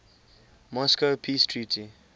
moscow peace treaty